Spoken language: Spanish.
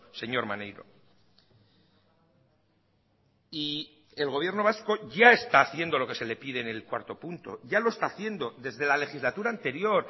señor maneiro y el gobierno vasco ya está haciendo lo que se le pide en el cuarto punto ya lo está haciendo desde la legislatura anterior